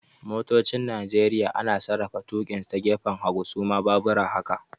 Motocin Nigeria ana sarrafa tukinsu ta gefen hagu, su ma baabura haka